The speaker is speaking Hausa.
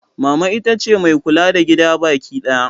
Mama ita ce mai kula da gida bakidaya.